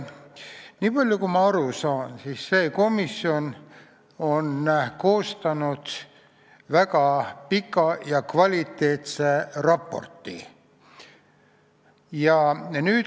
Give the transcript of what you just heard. Niipalju, kui ma aru saan, on see komisjon koostanud ka väga pika ja kvaliteetse raporti.